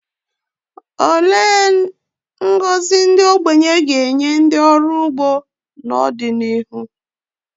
Olee ngọzi ndị okenye ga-enye ndị ọrụ ugbo n’ọdịnihu?